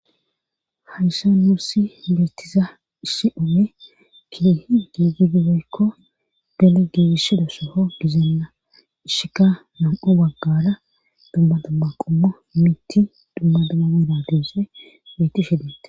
hayssa nuussi meettiza issi ome kiehi giigidibeykko bene giigishedo soho gizeenna ishika nam7o baggara dumma damma qomma mitti dumma damameda deese woyti shedette